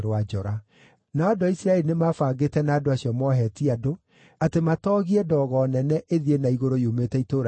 Nao andũ a Isiraeli nĩ mabangĩte na andũ acio moohetie andũ atĩ matoogie ndogo nene ĩthiĩ na igũrũ yumĩte itũũra rĩu inene,